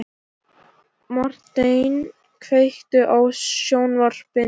Marteinn, kveiktu á sjónvarpinu.